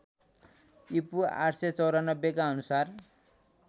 ईपू ८९४ का अनुसार